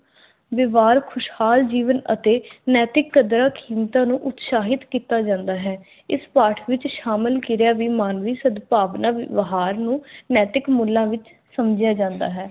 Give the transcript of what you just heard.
ਵਿਵਹਾਰ ਖੁਸ਼ਹਾਲ ਜੀਵਨ ਅਤੇ ਨੈਤਿਕ ਕਦਰਾਂ-ਕੀਮਤਾਂ ਨੂੰ ਉਤਸ਼ਾਹਿਤ ਕੀਤਾ ਜਾਂਦਾ ਹੈ। ਇਸ ਪਾਠ ਵਿਚ ਕਿਰਿਆ ਵੀ ਮਾਨਵੀ ਸਦਭਾਵਨਾ ਵਿਵਹਾਰ ਨੂੰ ਨੈਤਿਕ ਮੁੱਲਾਂ ਵਿਚ ਸਮਝਿਆ ਜਾਂਦਾ ਹੈ।